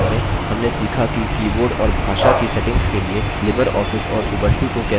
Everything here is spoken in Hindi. हमने सीखा कि keyboard और भाषा की settings के लिए libreoffice और उबंटु को कैसे कंफिगर करें